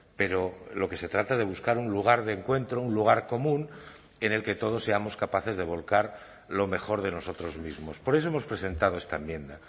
pero lo que se trata es de buscar un lugar de encuentro un lugar común en el que todos seamos capaces de volcar lo mejor de nosotros mismos por eso hemos presentado esta enmienda